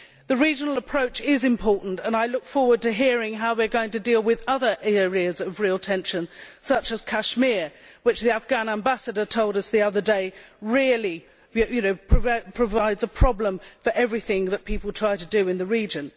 The regional approach is important, and I look forward to hearing how we are going to deal with other areas of real tension, such as Kashmir, which the Afghan Ambassador told us the other day really provides a problem for everything that people try to do in the region.